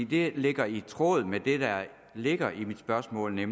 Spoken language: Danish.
det ligger i tråd med det der ligger i mit spørgsmål at